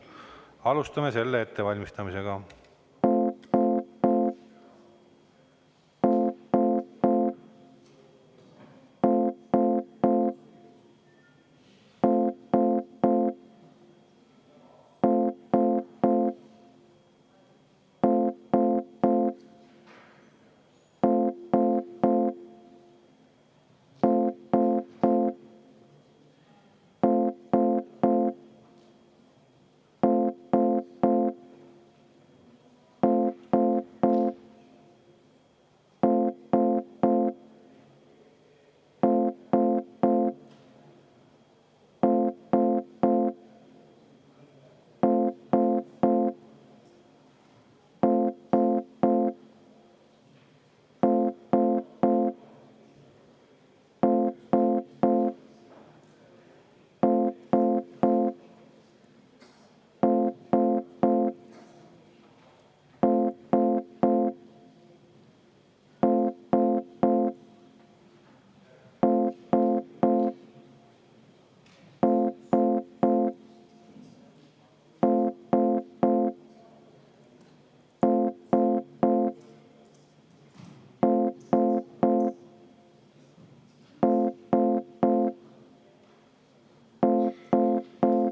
Alustame selle ettevalmistamist.